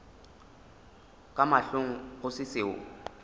ka mahlong go se seo